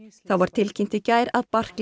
var tilkynnt í gær að